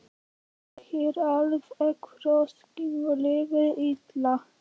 Ég er alveg frosinn og líður illa.